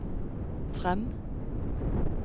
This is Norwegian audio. frem